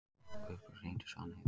Guðberg, hringdu í Svanheiði.